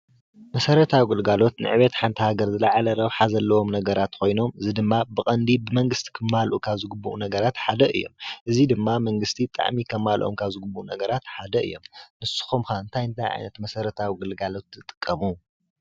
መሰረታዊ ግልጋሎት ንዕብየት ሓንቲ ሃገር ዝላዓለ ረብሓ ዘለዎም ነገራት ኮይኖም እዚ ድማ ብቐንዲ ብመንግስቲ ክማልኡ ካብ ዝግበኦም ነገራት ሓደ እዮም። እዚ ድማ መንግስቲ ብጣዓሚ ከማልኦም ካብ ዝግብኦም ነገራት ሓደ እዮም። ንስኹም ኸ እንታይ እንታይ ዓይነት መሰረታዊ ግልጋሎት ትጥቀሙ?